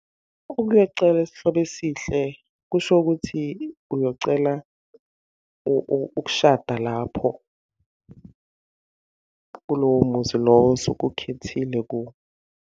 Ukuyocela isihlobo esihle kusho ukuthi uyocela ukushada lapho kulowo muzi lowo osuke ukhethile kuwo.